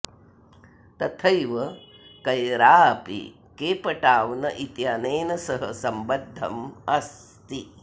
तथैव कैरा अपि केपटाऊन् इत्यनेन सह सम्बद्धम् अस्ति